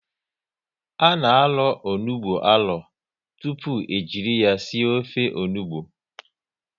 A na arọ onugbu arọ tụpụ e jiri ya sie ofe onugbu